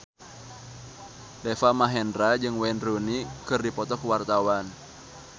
Deva Mahendra jeung Wayne Rooney keur dipoto ku wartawan